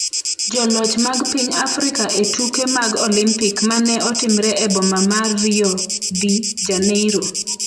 Joloch mag piny Afrika e tuke mag Olimpik ma ne otimre e boma ma Rio de Janeiro